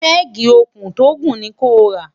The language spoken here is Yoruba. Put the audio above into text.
pegi òkun tó gùn ni kò rà